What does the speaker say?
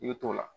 I bɛ t'o la